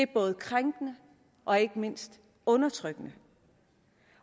både krænkende og ikke mindst undertrykkende